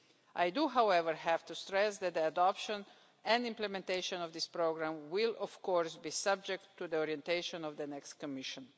I do, however, have to stress that the adoption and implementation of this programme will, of course, be subject to the orientation of the next Commission.